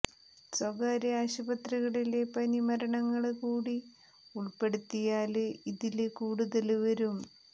സ്വകാര്യ ആശുപത്രിയിലെ പനി മരണങ്ങള് കൂടി ഉള്പ്പെടുത്തിയാല് ഇതില് കൂടുതല് വരും